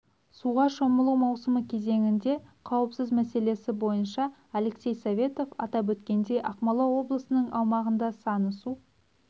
суға шомылу маусымы кезеңінде қауіпсіз мәселесі бойынша алексей советов атап өткендей ақмола облысының аумағында саны су